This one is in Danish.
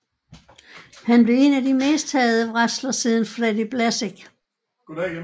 Han blev en af de mest hadede wrestler siden Freddy Blassie